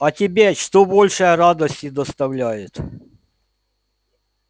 а тебе что больше радости доставляет